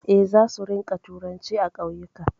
Eh, za su rinƙa turanci a ƙauyuka